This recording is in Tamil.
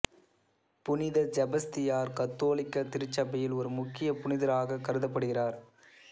புனித செபஸ்தியார் கத்தோலிக்க திருச்சபையில் ஒரு முக்கிய புனிதராகக் கருதப்படுகிறார்